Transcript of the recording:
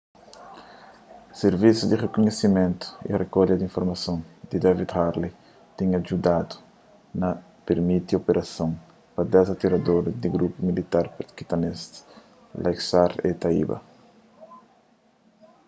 sirvisu di rikunhisimentu y rikolha di informason di david headley tinha djudadu na pirmiti operason pa 10 atiradoris di grupu militanti pakistanês laskhar-e-taiba